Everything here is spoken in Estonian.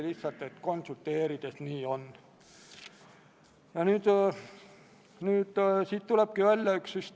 Lisaks parandati sõnade käändelõppe ning komisjon jättis välja sõna "koosseisus".